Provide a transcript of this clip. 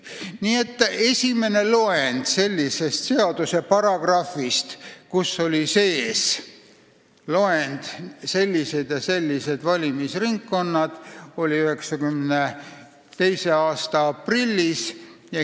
Nii et esimene seaduse paragrahv, kus oli sees loend, et on sellised ja sellised valimisringkonnad, oli olemas 1992. aasta aprillis.